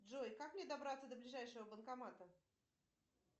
джой как мне добраться до ближайшего банкомата